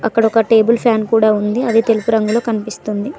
అక్కడ ఒక table fan కూడా ఉంది అది తెలుపు రంగులో కనిపిస్తుంది.